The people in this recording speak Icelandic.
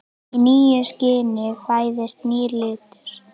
Í nýju skini fæðist nýr litur.